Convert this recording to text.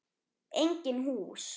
Engin hús.